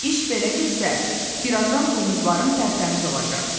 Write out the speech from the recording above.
İş belə getsə, bir azdan buynuzların tərtəmiz olacaq.